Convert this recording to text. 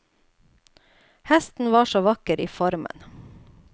Hesten var så vakker i formen.